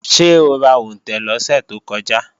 Ṣé o ra òǹtẹ̀ lọ́sẹ̀ tó kọjá?